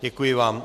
Děkuji vám.